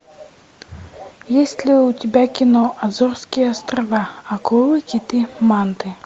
есть ли у тебя кино азорские острова акулы киты манты